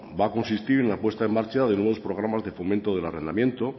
va a consistir en la puesta en marcha de nuevos programas de fomento del arrendamiento